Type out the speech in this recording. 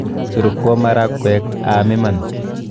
Surukwo maragwek aam iman.